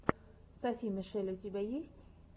софи мишель у тебя есть